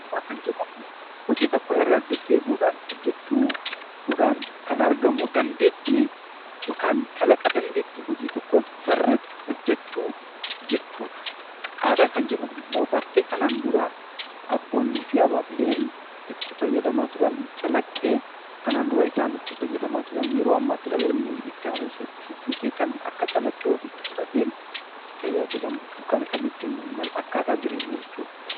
Ogummaa kan jedhamu hojii tokko irra deddeebi'uun hojjachuudhaan kan argamu dandeettii yookaan kalaqa dandeettii hojii tokkoo sirriitti hojjachuu jechuudha. Aadaa kan jennu immoo bartee kanaan dura abbootii haadhotiin itti fayyadamaa turan calaqqee ofiitti fudhatee itti tajaajilamudha